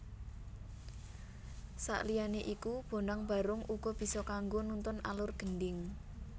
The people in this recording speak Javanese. Sakliyané iku Bonang Barung uga bisa kanggo nuntun alur Gendhing